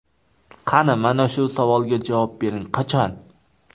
Qani, mana shu savolga javob bering, qachon?